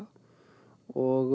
og